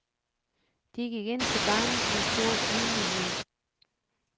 De gik ind til barnet med stor ydmyghed.